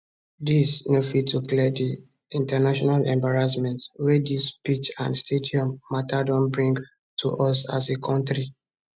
dis no fit to clear di international embarrassment wey dis pitch and stadium mata don bring to us as a kontri